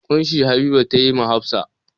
ƙunshi Habiba ta yi wa Hafsa.